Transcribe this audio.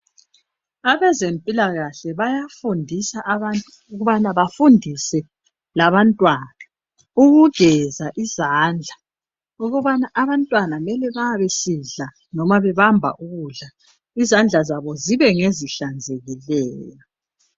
Abezempilakahle bayafundisa abantu ukubana bafundise labantwana ukugeza izandla, ukubana abantwana bayabe besidla loba bebamba ukudla, izandla zabo zibe ngezihlanzekileyo .